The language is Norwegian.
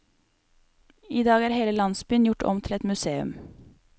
I dag er hele landsbyen gjort om til et museum.